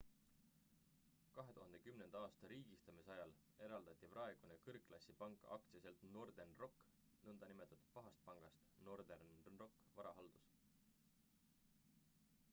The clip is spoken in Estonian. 2010. aasta riigistamise ajal eraldati praegune kõrgklassi pank aktsiaselts northern rock nn pahast pangast northern rock varahaldus